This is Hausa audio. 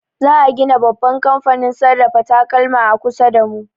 Za a gina babban kamfanin sarrafa takalma a kusa da mu.